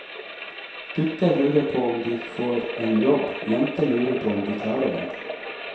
Gutter lurer på om de får en jobb, jenter lurer på om de klarer den.